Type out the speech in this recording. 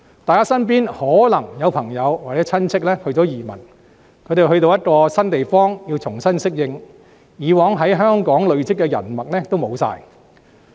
大家身邊可能也有朋友或親戚移民，他們到了一個新地方，需要重新適應，以往在香港累積的人脈也全都失去。